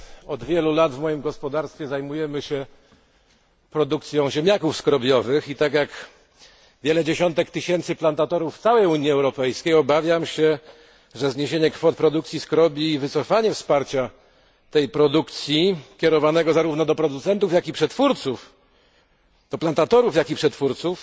Od wielu lat w moim gospodarstwie zajmujemy się produkcją ziemniaków skrobiowych i tak jak wiele dziesiątek tysięcy plantatorów w całej Unii Europejskiej obawiam się, że zniesienie kwot produkcji skrobi i wycofanie wsparcia tej produkcji, kierowanego zarówno do producentów, jak i przetwórców,